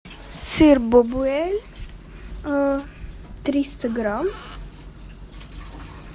сыр бабуэль триста грамм